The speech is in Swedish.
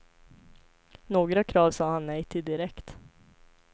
Några krav sa han nej till direkt.